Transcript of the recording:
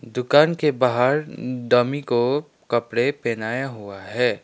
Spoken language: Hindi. दुकान के बाहर डमी को कपड़े पहनाया हुआ है।